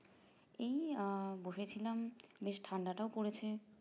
এই আহ বসেছিলাম বেশ ঠান্ডাটাও পড়েছে